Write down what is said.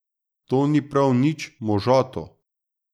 To ni prav nič možato.